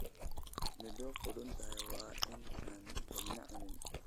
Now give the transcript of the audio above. Midho qudhuntay waa in aan cidina cunin.